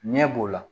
Ɲɛ b'o la